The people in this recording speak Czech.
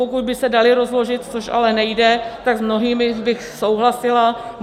Pokud by se daly rozložit, což ale nejde, tak s mnohými bych souhlasila.